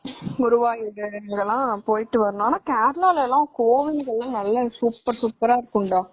குருவாயூர் இதெல்லாம் போயிட்டு வரணும்.ஆனா கேரளால எல்லாம் கோவில் எல்லாம் சூப்பர்ரா இருக்கும்டா